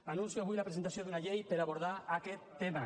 anuncio avui la presentació d’una llei per abordar aquest tema